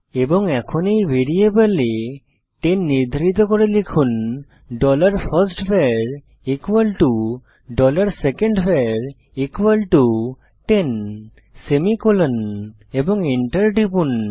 এবং এখন এই ভ্যারিয়েবলে 10 নির্ধারিত করে লিখুন dollar first var dollar second var 10 semicolon এবং এন্টার টিপুন